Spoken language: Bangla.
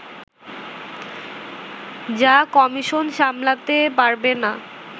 যা কমিশন সামলাতে পারবে না